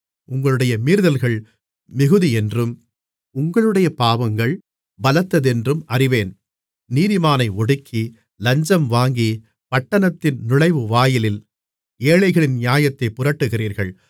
உங்களுடைய மீறுதல்கள் மிகுதியென்றும் உங்களுடைய பாவங்கள் பலத்ததென்றும் அறிவேன் நீதிமானை ஒடுக்கி லஞ்சம் வாங்கி பட்டணத்தின் நுழைவுவாயிலில் ஏழைகளின் நியாயத்தைப் புரட்டுகிறீர்கள்